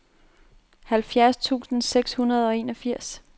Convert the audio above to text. halvfjerds tusind seks hundrede og enogfirs